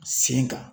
Sen kan